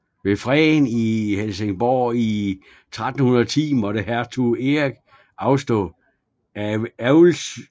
Ved freden i Helsingborg i 1310 måtte hertug Erik afstå Älvsyssel